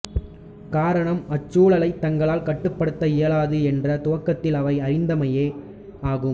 காரணம் அச்சூழலைத் தங்களால் கட்டுப்படுத்த இயலாது என்று துவக்கத்தில் அவை அறிந்தமையே ஆகும்